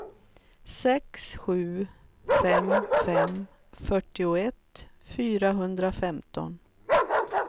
sex sju fem fem fyrtioett fyrahundrafemton